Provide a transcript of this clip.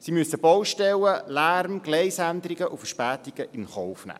Sie müssen Baustellen, Lärm, Gleisänderungen und Verspätungen in Kauf nehmen.